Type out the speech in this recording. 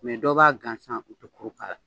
Mɛ dɔw b'a gansan u tɛ kuru k'a la.